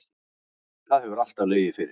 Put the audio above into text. Það hefur alltaf legið fyrir